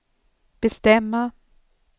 bestämma